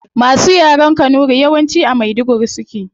Masu yaren kanuri yawanci a maiduguri suke